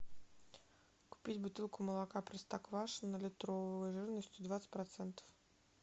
купить бутылку молока простоквашино литровую жирностью двадцать процентов